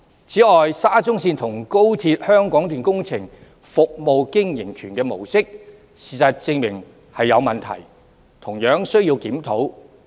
此外，事實證明，沙中線和高鐵香港段工程的"服務經營權"模式確有問題，同樣需要檢討。